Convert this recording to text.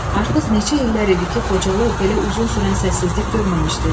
Artıq neçə illər idi ki, Xocalı belə uzun sürən səssizlik görməmişdi.